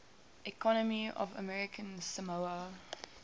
economy of american samoa